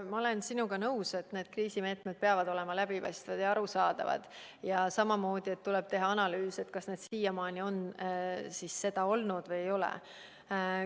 Ma olen sinuga nõus, et need kriisimeetmed peavad olema läbipaistvad ja arusaadavad, ja samamoodi, et tuleb teha analüüs, kas need siiamaani on seda olnud või ei ole.